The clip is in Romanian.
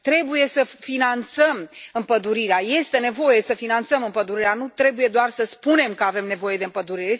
Trebuie să finanțăm împădurirea, este nevoie să finanțăm împădurirea, nu trebuie doar să spunem că avem nevoie de împădurire.